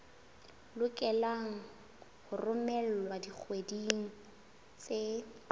lokelwa ho romelwa dikgweding tse